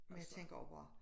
Og jeg tænker også hvor